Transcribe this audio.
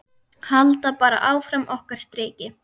Halda bara áfram okkar striki.